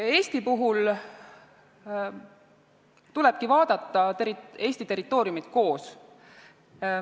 Eesti puhul tulebki vaadata Eesti territooriumi koos.